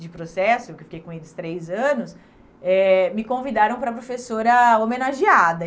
de processo, que eu fiquei com eles três anos, eh me convidaram para professora homenageada.